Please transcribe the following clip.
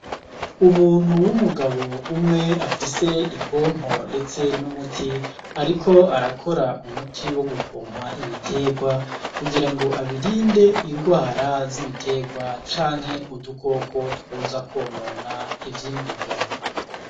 Umuntu w'umugabo umwe afise ipompo ndetse n'umuti ariko arakora umuti wo gupoma ibiterwa kugira ngo abirinde ingwara z'ibiterwa canke udukoko twoza kwonona ivyimburwa.